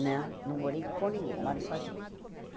Não, não morei com ninguém, moro sozinha.